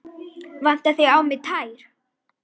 Vantaði á mig tær?